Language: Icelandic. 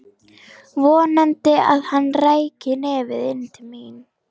Vonaði að hann ræki nefið inn til mín.